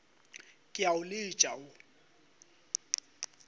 ke a o letša wo